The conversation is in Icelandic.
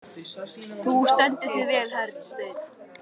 Þú stendur þig vel, Hersteinn!